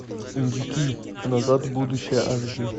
индюки назад в будущее аш ди